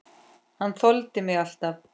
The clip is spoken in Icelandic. Hann þoldi mig alltaf.